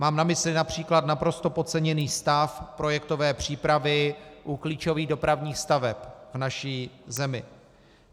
Mám na mysli například naprosto podceněný stav projektové přípravy u klíčových dopravních staveb v naší zemi.